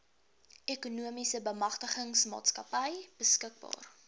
ekonomiese bemagtigingsmaatskappy beskikbaar